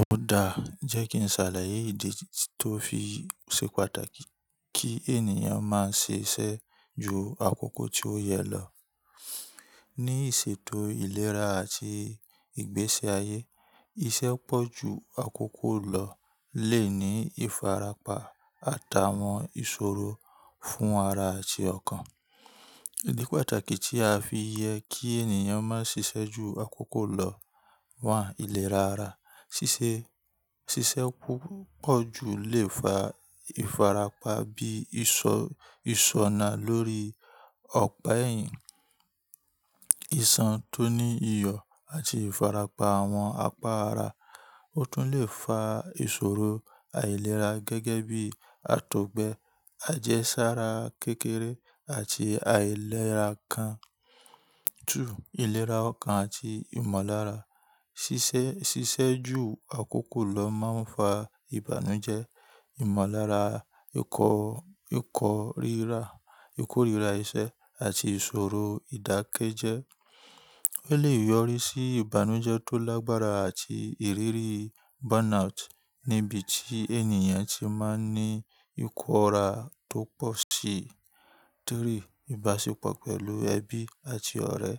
Ó dáa, jẹ́ kí n ṣàlàyé ìdí tó fi ṣe pàtàkì kí ènìyàn má ṣe iṣẹ́ ju àkókò tí ó yẹ lọ. Ní ìṣètò ìlera àti ìgbésí ayé, iṣẹ́ pọ̀ ju àkókò lọ lè ní ìfarapa àtàwọn ìṣòro fún ara àti ọkàn. Ìdí pàtàkì tí a fi yẹ kí ènìyàn má ṣiṣẹ́ ju àkókò lọ wà: ìlera ara. Ṣiṣẹ́ púpọ̀ ju lè fa ìfarapa bí ìsọ-ìṣọ́na lórí ọ̀pá ẹ̀yìn, ìṣàn tó ní iyọ̀ àti ìfarapa àwọn apá ara. Ó tún lè fa ìṣòro àìlera gẹ́gẹ́ bí àtọ̀gbẹ, àjẹsára kékeré àti àìlera kàn. Júù ìlera ọkàn àti ìmọ̀lára. Ṣiṣẹ́ ju àkókò lọ máa ń fa ìbànújẹ́, ìmọ̀lára, ìkórira iṣẹ́ àti ìṣòro ìdákẹ́jẹ́. Ó lè yọrí sí ìbànújẹ́ tó lágbára àti ìrírí burnout níbi tí ènìyàn ti máa ń ní ìkóra tó pọ̀ sí. Tori, ìbáṣepọ̀ pẹ̀lú ẹbí àti ọ̀rẹ́.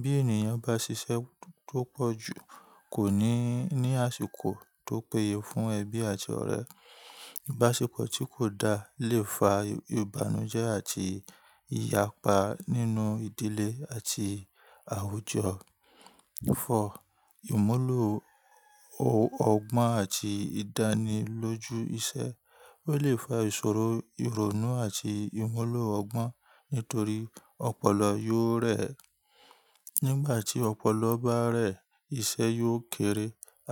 Bí ènìyàn bá ṣiṣẹ́ tó pọ̀ jù kò ní ní àsìkò tó péye fún ẹbí àti ọ̀rẹ́. Ìbáṣepọ̀ tí kò dáa lè fa ìbànújẹ́ àti ìyapa nínú ìdílé àti àwùjọ. Fọ, ìmúlò ọgbọ́n àti ìdánilójú iṣẹ́. Ó lè fa ìṣòro, ìrònú àti ìmúlò ọgbọ́n nítorí ọpọlọ yóò rẹ̀ ẹ́. Nígbà tí ọpọlọ bá rẹ̀ ẹ́, iṣẹ́ yóò kéré,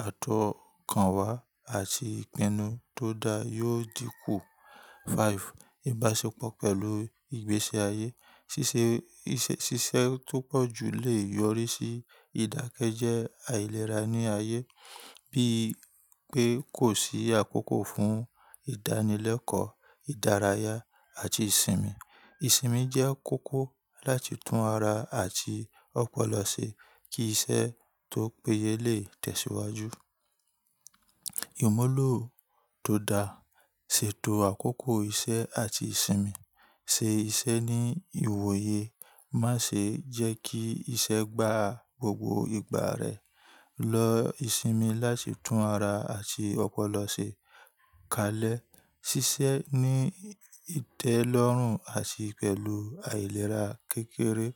àtọ̀kànwá àti ìpinnu tó dáa yóò dínkù. 5, ìbáṣepọ̀ pẹ̀lú ìgbésí ayé. Ṣiṣẹ́ tó pọ̀ jù lè yọrí sí ìdákẹ́jẹ́ àìlera ní ayé, bíi pé kò sí àkókò fún ìdánilẹ́kọ̀ọ́, ìdárayá àti ìsinmi. Ìsinmi jẹ́ kókó láti tún ara àti ọpọlọ ṣe kí iṣẹ́ tó péye lè tẹ̀síwájú. Ìmúlò tó dáa, ṣètò àkókò iṣẹ́ àti ìsinmi, ṣe iṣẹ́ ní ìwòye, má ṣe jẹ́ kí iṣẹ́ gbá gbogbo ìgbà rẹ. Lọ ìsinmi láti tún ara àti ọpọlọ ṣe. Kalẹ̀, ṣiṣẹ́ ní ìtẹ́lọ́rùn àti pẹ̀lú àìlera kékeré.